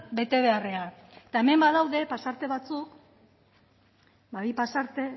bete beharrean eta hemen badaude pasarte batzuk bi pasarte